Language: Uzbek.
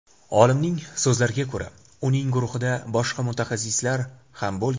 Olimning so‘zlariga ko‘ra, uning guruhida boshqa mutaxassislar ham bo‘lgan.